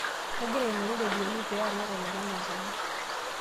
kagira aingoru iropiani pee alak olopeny enkaji